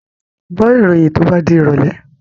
Gbọ́ ìròyìn to bá di ìrọ̀lẹ̀!